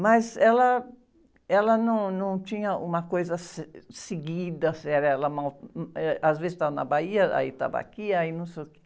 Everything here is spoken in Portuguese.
Mas ela, ela não, não tinha uma coisa, seguida, séria, ela, eh, às vezes estava na Bahia, aí estava aqui, aí não sei o quê.